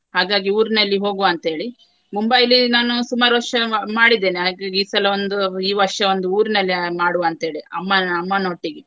ಹಾಗಾಗಿ ಊರಿನಲ್ಲಿ ಹೋಗುವ ಅಂತ ಹೇಳಿ. ಮುಂಬೈಲಿ ನಾನು ಸುಮಾರು ವರ್ಷ ಮಾಡಿದ್ದೇನೆ ಹಾಗಾಗಿ ಈ ಸಲ ಒಂದು ಈ ವರ್ಷ ಒಂದು ಊರಿನಲ್ಲಿ ಮಾಡುವ ಅಂತ್ಹೇಳಿ ಅಮ್ಮನ ಅಮ್ಮನೊಟ್ಟಿಗೆ.